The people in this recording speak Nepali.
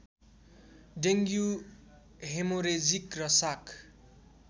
डेङ्गु हेमोरेजिक र शाक